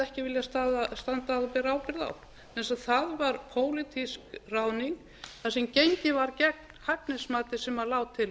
hefði ekki viljað standa að og bera ábyrgð á vegna þess að það var pólitísk ráðning þar sem gengið var gegn hæfnismati sem lá til